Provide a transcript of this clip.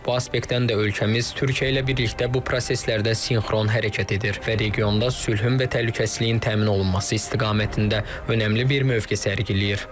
Bu aspektdən də ölkəmiz Türkiyə ilə birlikdə bu proseslərdə sinxron hərəkət edir və regionda sülhün və təhlükəsizliyin təmin olunması istiqamətində önəmli bir mövqe sərgiləyir.